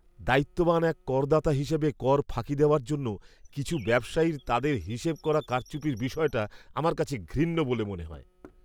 দায়িত্ববান এক করদাতা হিসেবে কর ফাঁকি দেওয়ার জন্য কিছু ব্যবসায়ীর তাদের হিসেবে করা কারচুপির বিষয়টা আমার কাছে ঘৃণ্য বলে মনে হয়।